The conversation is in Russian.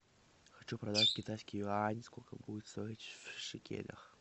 хочу продать китайский юань сколько будет стоить в шекелях